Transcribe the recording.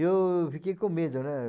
Eu fiquei com medo, né?